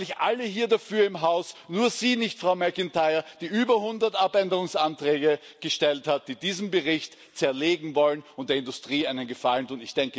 Es sind eigentlich alle hier im Haus dafür, nur Sie nicht, Frau McIntyre, die über hundert Änderungsanträge gestellt haben, die diesen Bericht zerlegen wollen und der Industrie einen Gefallen tun.